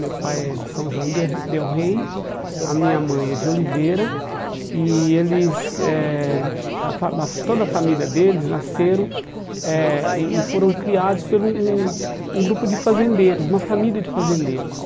Meu pai é de São João del del Rey, a minha mãe é de Oliveira, e eles eh a fa a fa, toda a família deles nasceram eh e e foram criados pelo um um grupo de fazendeiros, uma família de fazendeiros.